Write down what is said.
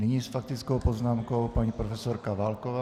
Nyní s faktickou poznámkou paní profesorka Válková.